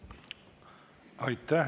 Aitäh!